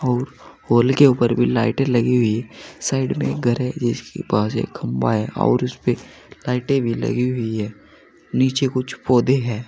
और पोल के ऊपर भी लाइटें लगी हुई है साइड में एक घर है जिसके पास एक खंभा है और उस पे लाइटें भी लगी हुई है नीचे कुछ पौधे है।